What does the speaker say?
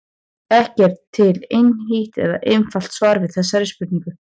Ekki er til einhlítt eða einfalt svar við þeirri spurningu.